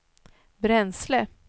bränsle